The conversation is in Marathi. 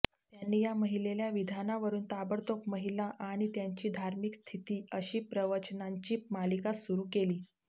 त्यांनी या महिलेल्या विधानावरून ताबडतोब महिला आणि त्यांची धार्मिक स्थिती अशी प्रवचनांची मालिका सुरू केली